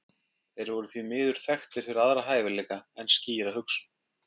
Þeir voru því miður þekktir fyrir aðra hæfileika en skýra hugsun.